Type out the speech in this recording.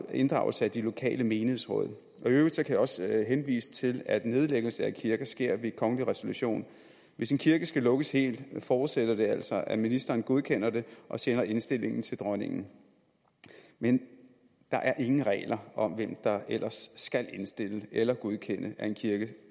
inddragelse af de lokale menighedsråd i øvrigt kan jeg også henvise til at nedlæggelse af kirker sker ved kongelig resolution hvis en kirke skal lukkes helt forudsætter det altså at ministeren godkender det og sender indstillingen til dronningen men der er ingen regler om hvem der ellers skal indstille eller godkende at en kirke